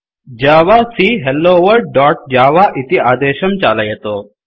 जावाक hello world दोत् जव इति आदेशं चालयतु